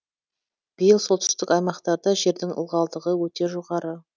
биыл солтүстік аймақтарда жердің ылғалдығы өте жоғары